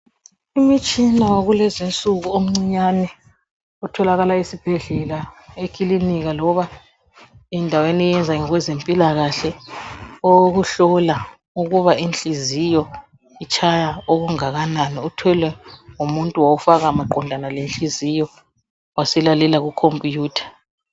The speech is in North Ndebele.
Umtshina wakulezinsuku omncinyane otholakala esibhedlela, ekilinika loba endaweni eyenza ngokwezempilakahle owokuhlola ukuba inhliziyo itshaya okungakanani. Uthwele ngumuntu wawufaka maqondana lenhliziyo waselalela kukhompiyutha.